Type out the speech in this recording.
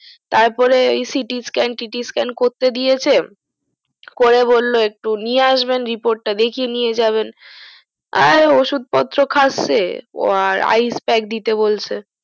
তারপরে CT scan TT scan করতে দিয়েছে করে বললো একটু নিয়ে আসবেন report তা দেখিয়ে নিয়ে যাবেন আর ওষুধ পত্র খাসসে আর icebag দিতে বলছে